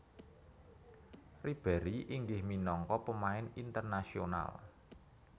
Ribéry inggih minangka pemain internasional